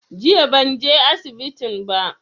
Jiya ban je asibitin ba